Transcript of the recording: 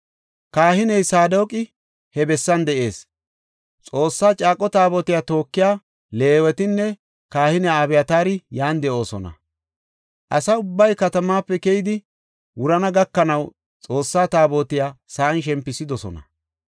Kahiney Saadoqi he bessan de7ees; Xoossa caaqo Taabotiya tookiya Leewetinne kahiniya Abyataari yan de7oosona. Asa ubbay katamaape keyidi wurana gakanaw Xoossa Taabotiya sa7an shempisidosona.